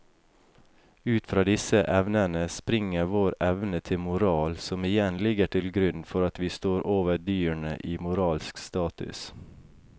Ut fra disse evnene springer vår evne til moral som igjen ligger til grunn for at vi står over dyrene i moralsk status.